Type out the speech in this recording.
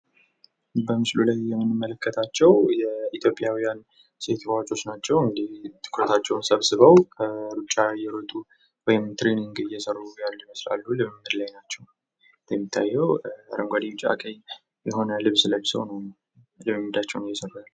በምስሉ ላይ የምንመለከታቸው የኢትዮጵያውያን ሴት ሯጮች ናቸው እንዲሁ ትኩረታቸውን ሰብስበው ሩጫ እየሮጡ ወይም ትሬኒንግ እየሰሩ ያሉ ይመስላሉ ወይ ውድድር ላይ ናቸው ።እንደሚታየው አረንጓዴ ቢጫ ቀይ የሆነ ልብስ ለብሰው ነው ትሬኒንጋቸውን እየሰሩ ያሉ ።